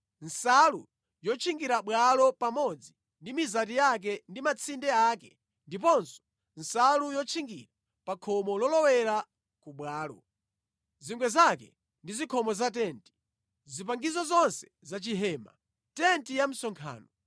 nsalu yotchingira bwalo pamodzi ndi mizati yake ndi matsinde ake ndiponso nsalu yotchingira pa khomo lolowera ku bwalo; zingwe zake ndi zikhomo za tenti; zipangizo zonse za chihema, tenti ya msonkhano;